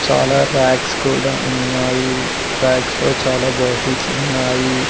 చాలా రాక్స్ కుడా ఉన్నాయి రాక్స్ లో చాలా బాటిల్స్ ఉన్నాయి.